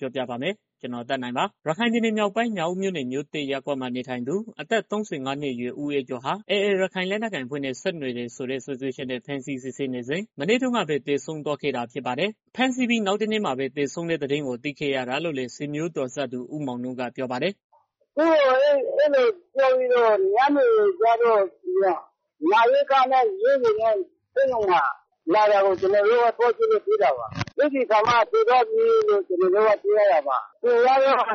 ပြောပြပါမယ်။ ရခိုင်ပြည်နယ်မြောက်ပိုင်း မြောက်ဦးမြို့နယ် မြို့သစ်ရပ်ကွက်မှာ နေထိုင်သူ့ အသက် ၃၅ နှစ်အရွယ် ဦးအေးကျော်ဟာ AA လက်နက်ကိုင်အဖွဲ့နဲ့ ဆက်နွယ်တဲ့ဆိုတဲ့ စွပ်စွဲချက်နဲ့ ဖမ်းဆီးစစ်ဆေးနေစဉ် မနေ့တုန်းကပဲ သေဆုံးသွားခဲ့တာ ဖြစ်ပါတယ်။ ဖမ်းဆီးပြီး နောက်တနေ့မှာပဲ သေဆုံးတဲ့သတင်းကို သိခဲ့ရတာလို့လည်း ဆွေမျိုးတော်စပ်သူဦးမောင်နုက ပြောပါတယ်။ "သူ့ကို ညနေကျတော့ နာရေးကားနဲ့ဆေးရုံကို ရောက်နေပြီဆိုပြီးတော့ အကြောင်းကြားလို့ သွားကြည့်တော့မှ သေတယ်ဆိုပြီးတော့ သိရတာပါ။ သူကတော့ ရွာမှာ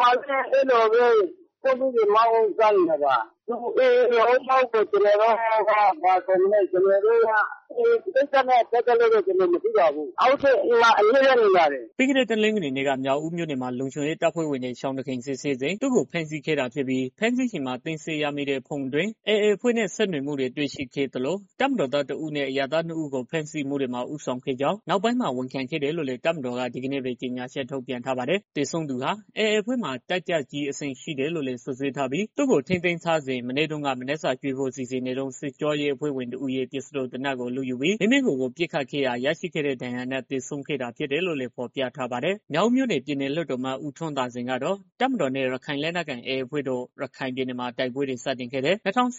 ပဲ ဆိုင်ကယ်ကယ်ရီမောင်းစားနေတာပါ။ သူက AA လား၊ ဘားလားဆိုတာ အဲဒီကိစ္စနဲ့ ပတ်သတ်ပြီးတော့ ကျနော်လည်း မသိပါဘူး။ သူကတော့ အိမ်မှာ အမြဲတမ်း ရှိပါတယ်။" ပြီးခဲ့တဲ့ တနင်္ဂနွေနေ့က မြောက်ဦးမြို့မှာ လုံခြုံရေးတပ်ဖွဲ့တွေ ရှောင်တခင်စစ်ဆေးစဉ် သူ့ကိုဖမ်းဆီးခဲ့တာဖြစ်ပြီး ဖမ်းဆီးချိန်မှာ သိမ်းဆည်းရမိတဲ့ ဖုန်းအတွင်း AA အဖွဲ့နဲ့ ဆက်သွယ်မှုတွေ တွေ့ရှိခဲ့ရသလို တပ်မတော်သား တစ် ဦးနဲ့ အရပ်သား နှစ် ယောက်ကို ဖမ်းဆီးမှုတွေမှာ ဦးဆောင်ခဲ့ကြောင်း နောက်ပိုင်းမှာ ဝန်ခံခဲ့တယ်လို့လည်း တပ်မတော်က ဒီကနေ့ပဲ ကြေညာချက် ထုတ်ပြန်ထားပါတယ်။ သေဆုံးသူဟာ AA အဖွဲ့မှာ တပ်ကြပ်ကြီးအဆင့် ရှိတယ်လို့လည်း စွပ်စွဲထားပြီး သူ့ကို ထိန်းသိမ်းစစ်ဆေးနေစဉ် မနေ့တုန်းက မနက်စာကျွေးဖို့ စီစဉ်နေတုန်း စစ်ကြောရေး အဖွဲ့ဝင်တဦးရဲ့ ပစ္စတိုသေနတ်ကို လုယူပြီး မိမိကိုယ်ကိုယ် ပစ်ခတ်ခဲ့ရာက ရရှိတဲ့ဒဏ်ရာနဲ့ သေဆုံးခဲ့တာဖြစ်တယ်လို့လည်း ဖော်ပြထားပါတယ်။ မြောက်ဦးမြို့နယ် ပြည်နယ်လွှတ်တော်အမတ် ဦးထွန်းသာစိန်ကတော့ တပ်မတော်နဲ့ ရခိုင်လက်နက်ကိုင် AA အဖွဲ့တို့ ရခိုင်ပြည်နယ်မှာ တိုက်ပွဲတွေ စတင်ခဲ့တဲ့ ၂၀၁၈ ခု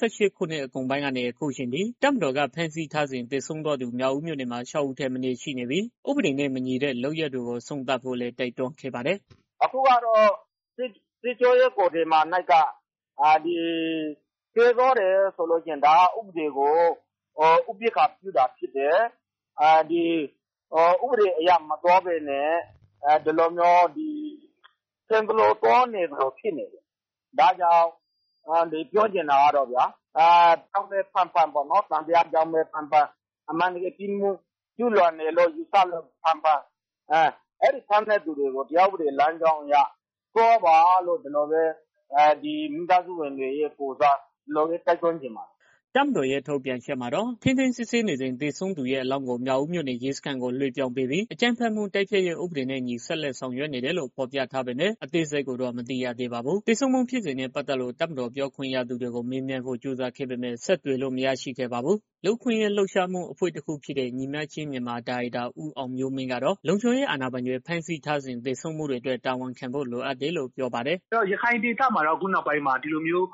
နှစ်ကုန်ပိုင်းကနေ အခုအချိန်ထိ တပ်မတော်က ဖမ်းဆီးထားစဉ် သေဆုံးသွားသူ မြောက်ဦးမြို့နယ်မှာ ၆ ဦးထက်မနည်း ရှိနေပြီး၊ ဥပဒေနဲ့ မညီတဲ့ လုပ်ရပ်တွေကို အဆုံးသတ်ဖို့လည်း တိုက်တွန်းခဲ့ပါတယ်။ "အခုက စစ်ကြောရေးမှာ သေသွားတယ်ဆိုတော့ ဒါက ဥပဒေကို ဥပက္ခာပြုတာဖြစ်တယ်။ ဥပဒေအရမသွားဘဲနဲ့ ထင်သလို သွားနေသလိုဖြစ်နေတယ်။ ဒါကြောင့် ပြောချင်တာကတော့ဗျာ။ သံသယနဲ့ပဲ ဖမ်းဖမ်း ပြစ်မှုကျူးလွန်လို့ပဲ ဖမ်းဖမ်း၊ ဘာကြောင့်ပဲ ဖမ်းဖမ်းပေါ့နော် ဥပဒေလမ်းကြောင်းအရ သွားပါလို့ မိသားစုဝင်တွေရဲ့ကိုယ်စား တိုက်တွန်းချင်ပါတယ်။" တပ်မတော်ရဲ့ ထုတ်ပြန်ချက်မှာတော့ ထိန်းသိမ်းစစ်ဆေးနေစဉ် သေဆုံးသူရဲ့ အလောင်းကို မြောက်ဦးမြို့နယ် ရဲစခန်းကို လွဲှပြောင်းပေးပြီး အကြမ်းဖက်မှု တိုက်ဖျက်ရေးဥပဒေနဲ့အညီ ဆက်လက်ဆောင်ရွက်နေတယ်လို့ ဖော်ပြထားပေမဲ့ အသေးစိတ်ကိုတော့ မသိရပါဘူး။ သေဆုံးမှု ဖြစ်စဉ်နဲ့ ပတ်သက်လို့ တပ်မတော်ပြောခွင့်ရသူကို မေးမြန်းဖို့ ကြိုးစားခဲ့ပေမဲ့ ဆက်သွယ်လို့ မရခဲ့ပါဘူး။ လူ့အခွင့်အရေး လှုပ်ရှားမှုအဖွဲ့ တခုဖြစ်တဲ့ ညီမျှခြင်းမြန်မာ ဒါရိုက်တာ ဦးအောင်မျိုးမင်းကတော့ လုံခြုံရေးအာဏာပိုင်တွေ ဖမ်းဆီးထားစဉ် သေဆုံးမှုတွေအတွက် တာဝန်ခံဖို့ လိုအပ်တယ်လို့ ပြောပါတယ်။ "ရခိုင်ဒေသမှာတော့ အခုနောက်ပိုင်းမှာ ဒီလိုမျိုး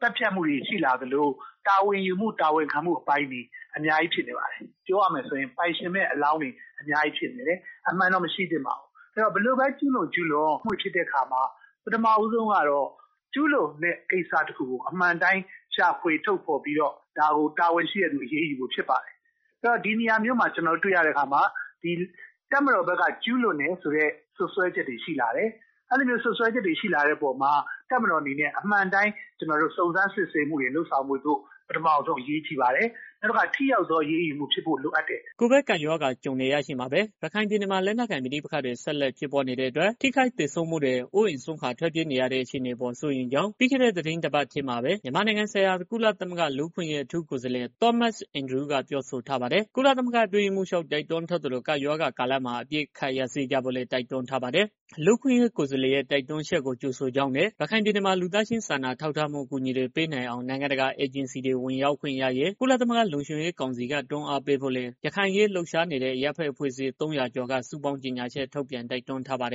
သတ်ဖြတ်တာတွေ တာဝန်ယူမှု တာဝန်ခံမှုမရှိတာတွေ အများကြီးရှိနေပါတယ်။ ပြောရမယ်ဆိုရင် ပိုင်ရှင်မဲ့အလောင်းတွေ အမှန်တော့ မရှိသင့်ပါဘူး။ ဘယ်လိုပဲ ကျုးလွန်၊ ကျုးလွန် အဲလိုဖြစ်တဲ့အခါမှာ ကျုးလွန်တဲ့ ကိစ္စတစ်ခုကို အမှန်အတိုင်း ရှာဖွေထုတ်ဖော်ပြီးတော့ တာဝန်ရှိတဲ့ သူတွေကို အရေးယူဖို့ဖြစ်ပါတယ်။ ဒီနေရာမှာ တပ်မတော်ဘက်က ကျူးလွန်တယ်ဆိုပြီးတော့ စွပ်စွဲချက်တွေ ရှိလာတယ်။ အဲလိုဖြစ်လာတာမှာ တပ်မတော်ဘက်က အမှန်အတိုင်း စုံစမ်းစစ်ဆေးမှုတွေ လုပ်ဆောင်ဖို့ အရေးကြီးပါတယ်။ နောက်တစ်ခုက ထိရောက်တဲ့ အရေးယူမှုဖြစ်ဖို့ လိုအပ်တယ်။" ကိုဗစ်ကပ်ရောဂါ ကြုံနေရချိန်မှာပဲ ရခိုင်ပြည်နယ်မှာ လက်နက်ကိုင် ပဋိပက္ခတွေ ဆက်လက်ဖြစ်ပွားနေတဲ့အတွက် ထိခိုက်သေဆုံးမှုတွေ၊ အိုးအိမ်စွန့်ခွာ ထွက်ပြေးနေရတဲ့ အခြေအနေတွေအပေါ် စိုးရိမ်ကြောင်း ပြီးခဲ့တဲ့ သီတင်းပတ်ထဲမှာပဲ မြန်မာနိုင်ငံဆိုင်ရာ ကုလသမဂ္ဂ လူ့အခွင့်အရေး အထူးကိုယ်စားလှယ် Thomas Andrews က ပြောဆိုထားပါတယ်။ ကုလသမဂ္ဂ အတွင်းရေးမှူးချုပ် တိုက်တွန်းထားသလို ကပ်ရောဂါကာလမှာ အပစ်အခတ်ရပ်စဲကြဖို့လည်း တိုက်တွန်းထားပါတယ်။ လူ့အခွင့်အရေး ကိုယ်စားလှယ်ရဲ့ တိုက်တွန်းချက်ကို ကြိုဆိုကြောင်းနဲ့ ရခိုင်ပြည်နယ်မှာ လူသားချင်းစာနာမှု အကူအညီတွေ ပေးနိုင်အောင် နိုင်ငံတကာ အေဂျင်စီတွေ ဝင်ရောက်ခွင့်ရရေး ကုလသမဂ္ဂ လုံခြုံရေးကောင်စီက တွန်းအားပေးဖို့လည်း ရခိုင်အရေး လှုပ်ရှားနေတဲ့ အရပ်ဘက်အဖွဲ့အစည်း ၃၀၀ ကျော်က စုပေါင်းကြေညာချက်ထုတ်ပြန် တိုက်တွန်းထားပါတယ်